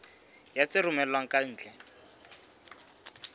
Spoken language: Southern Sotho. ya tse romellwang ka ntle